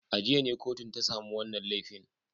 A jiya ne kotun ta samu wannan laifin.